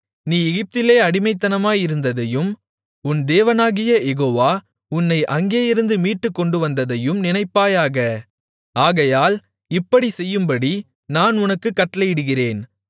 நீ எகிப்திலே அடிமையாயிருந்ததையும் உன் தேவனாகிய யெகோவா உன்னை அங்கேயிருந்து மீட்டுக்கொண்டுவந்ததையும் நினைப்பாயாக ஆகையால் இப்படிச் செய்யும்படி நான் உனக்குக் கட்டளையிடுகிறேன்